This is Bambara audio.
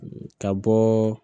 Ka bɔɔ